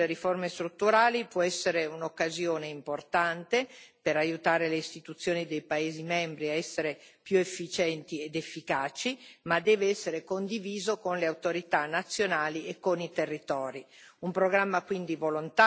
Questo programma di sostegno alle riforme strutturali può essere un'occasione importante per aiutare le istituzioni dei paesi membri a essere più efficienti ed efficaci, ma deve essere condiviso con le autorità nazionali e con i territori.